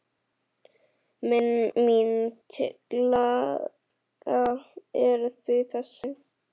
Mín tillaga er því þessi